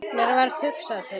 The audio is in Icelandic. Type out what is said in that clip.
Mér varð hugsað til þín.